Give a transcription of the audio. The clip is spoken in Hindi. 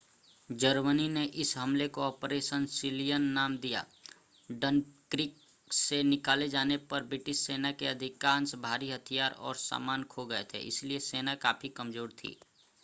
जर्मनी ने इस हमले को ऑपरेशन सीलियन नाम दिया डनक्रिक से निकाले जाने पर ब्रिटिश सेना के अधिकांश भारी हथियार और सामान खो गए थे इसलिए सेना काफी कमज़ोर थी